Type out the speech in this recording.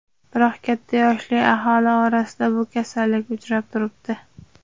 Biroq katta yoshli aholi orasida bu kasallik uchrab turibdi.